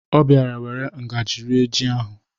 Ọ bịara were ngaji rie ji ahụ.